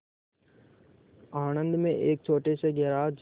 आणंद में एक छोटे से गैराज